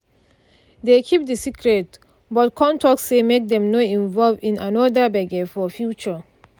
dey keep the secret but con talk say make dem no involve in another gbege for future